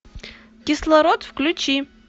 кислород включи